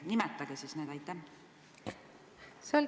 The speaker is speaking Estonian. Nimetage siis need!